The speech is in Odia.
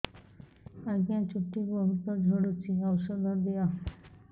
ଆଜ୍ଞା ଚୁଟି ବହୁତ୍ ଝଡୁଚି ଔଷଧ ଦିଅ